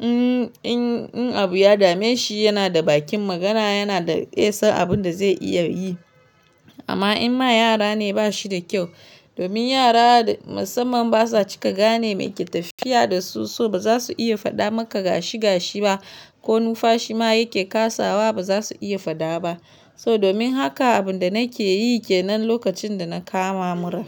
in, in, in abu ya dame shi yana da bakin magana yana da iya san abin da zai iya yi. Amma in ma yara ne ba shi da kyau domin yara musamman basa cika gane me ke tafiya da su so ba za su iya faɗa maka gashi--gashi ba ko nufashi ma yake kasawa ba zasu iya faɗa ba. So domin haka abun da nake yi ke nan lokacin da na kama mura.